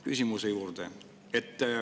Küsimuse juurde.